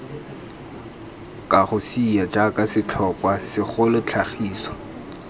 kagosea jaaka setlhokwa segolo tlhagiso